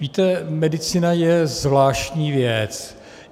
Víte, medicína je zvláštní věc.